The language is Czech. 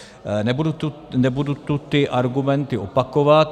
Nebudu tu ty argumenty opakovat.